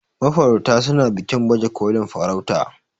mafarauta suna bikin bajekolin farauta